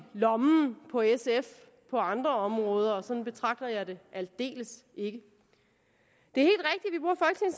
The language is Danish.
lommen på sf på andre områder men sådan betragter jeg det aldeles ikke det